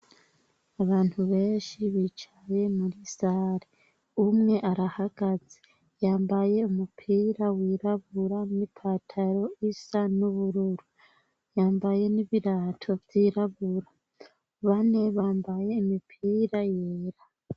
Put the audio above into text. Abantu benshi bicaye muri sari umwe arahagaze yambaye umupira wirabura n'i pataro isa n'ubururu yambaye n'ibirato vyirabura bane bambaye imipira yera.